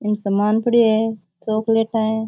सामान पड़े है चॉकलेट है।